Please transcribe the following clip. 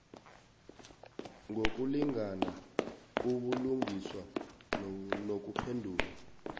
ngokulingana ubulungiswa nokuphendula